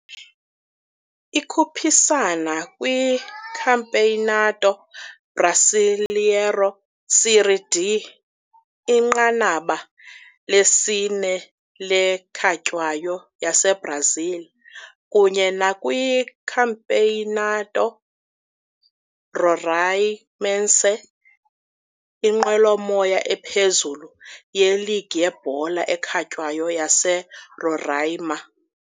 Ikhuphisana kwiCampeonato Brasileiro Série D, inqanaba lesine le ekhatywayo yaseBrazil, kunye nakwiCampeonato Roraimense, inqwelomoya ephezulu yeligi yebhola ekhatywayo yaseRoraima.